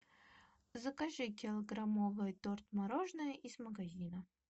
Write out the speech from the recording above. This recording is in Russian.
закажи килограммовый торт мороженое из магазина